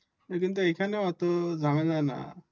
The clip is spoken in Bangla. হম কিন্ত এইখানে ওতো ঝামেলা নাহ্